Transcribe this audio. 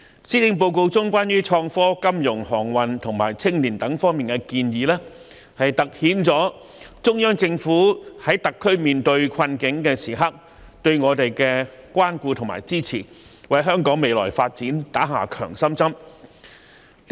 施政報告中有關創科、金融、航運及青年發展等方面的建議，凸顯了中央政府在特區面對困境時對我們的關顧和支持，為香港的未來發展打了一支強心針。